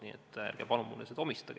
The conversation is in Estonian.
Nii et palun ärge mulle seda omistage.